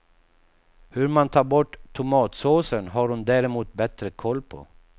Hur man tar bort tomatsåsen har hon däremot bättre koll på.